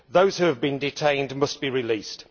Those who have been detained must be released.